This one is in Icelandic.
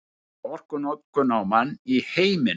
Mesta orkunotkun á mann í heiminum